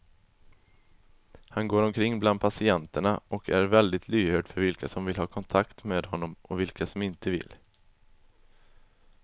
Han går omkring bland patienterna och är väldigt lyhörd för vilka som vill ha kontakt med honom och vilka som inte vill.